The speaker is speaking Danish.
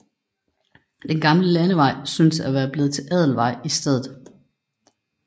Den gamle landevej synes at være blevet til Adelvej i stedet